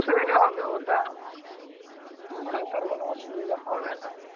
বসে থেকে হবে ওটা। ওটায় তো আর কোনো অসুবিধা হবে না।